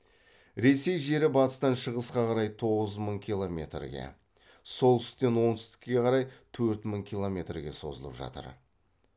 ресей жері батыстан шығысқа қарай тоғыз мың килрметрге солтүстіктен оңтүстікке қарай төрт мың километрге созылып жатыр